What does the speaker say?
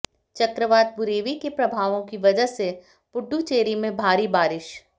चक्रवात बुरेवी के प्रभावों की वजह से पुडुचेरी में भारी बारिश